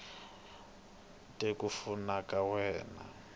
te ku fuma ka wena